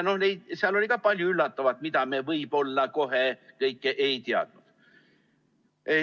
Seal oli ka palju üllatavat, mida me võib-olla enne kõike ei teadnud.